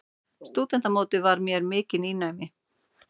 Stúdentamótið var mér mikið nýnæmi.